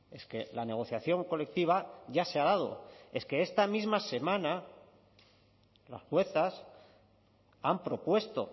es que la negociación colectiva ya se ha dado es que esta misma semana las juezas han propuesto